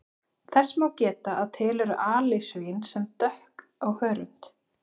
Þess má geta að til eru alisvín sem dökk á hörund.